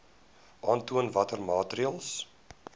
aantoon watter maatreëls